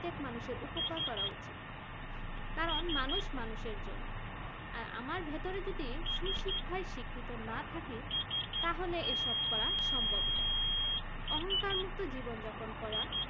প্রত্যেক মানুষের উপকার করা উচিত কারণ মানুষ মানুষের জন্য আর আমার ভেতরে যদি সুশিক্ষায় শিক্ষিত না থাকে তাহলে এসব করা সম্ভব নয় অহংকার মুক্ত জীবন যাপন করা